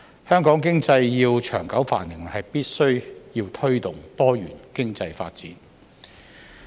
香港經濟要長久繁榮，必須推動多元經濟發展。